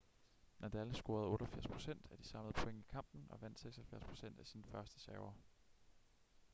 nadal scorede 88% af de samlede point i kampen og vandt 76% af sine førsteserver